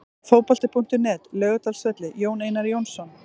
Fótbolti.net, Laugardalsvelli- Jón Einar Jónsson.